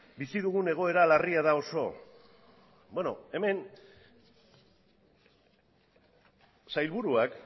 bizi dugun egoera larria da oso hemen sailburuak